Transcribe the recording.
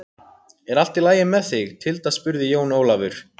Er allt í lagi með þig Tilda spurði Jón Ólafur.